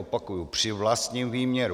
Opakuji, při vlastním výměru.